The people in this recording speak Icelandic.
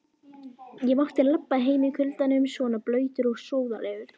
Ég mátti labba heim í kuldanum svona blautur og sóðalegur.